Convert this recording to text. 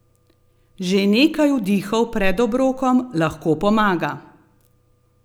Že nekaj vdihov pred obrokom lahko pomaga!